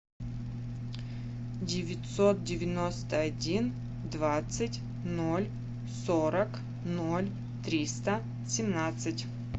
девятьсот девяносто один двадцать ноль сорок ноль триста семнадцать